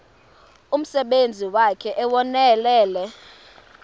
umsebenzi wakhe ewunonelele